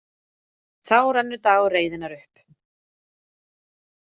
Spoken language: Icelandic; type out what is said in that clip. Þá rennur dagur reiðinnar upp.